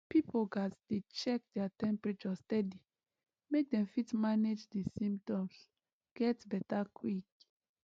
pipo gatz dey check their temperature steady make dem fit manage di symptoms get beta quick